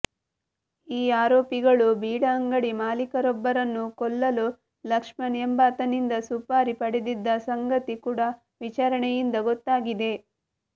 ಈ ಆರೋಪಿಗಳು ಬೀಡಾ ಅಂಗಡಿ ಮಾಲೀಕರೊಬ್ಬರನ್ನು ಕೊಲ್ಲಲು ಲಕ್ಷ್ಮಣ್ ಎಂಬಾತನಿಂದ ಸುಪಾರಿ ಪಡೆದಿದ್ದ ಸಂಗತಿ ಕೂಡ ವಿಚಾರಣೆಯಿಂದ ಗೊತ್ತಾಗಿದೆ